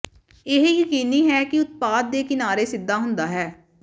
ਇਹ ਯਕੀਨੀ ਹੈ ਕਿ ਉਤਪਾਦ ਦੇ ਕਿਨਾਰੇ ਸਿੱਧਾ ਹੁੰਦਾ ਹੈ